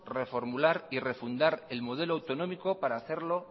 reformular y refundar el modelo autonómico para hacerlo